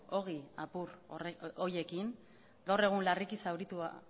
ogi apur horiekin gaur egun larriki